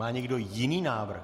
Má někdo jiný návrh?